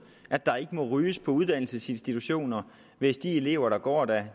at der ikke må ryges på uddannelsesinstitutioner hvis de elever der går der